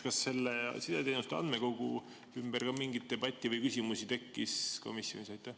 Kas sideteenuste andmekogu kohta ka mingit debatti või küsimusi tekkis komisjonis?